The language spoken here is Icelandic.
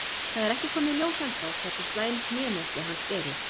Það er ekki komið í ljós ennþá hversu slæm hnémeiðsli hans eru.